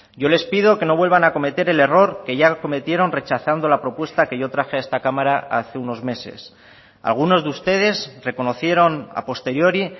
yo les pido que no vuelvan a cometer el error que ya cometieron rechazando la propuesta que yo traje a esta cámara hace unos meses algunos de ustedes reconocieron a posteriori